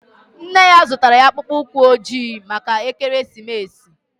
Nne ya zụtara ya akpụkpọ ụkwụ ojii maka ekeresimesi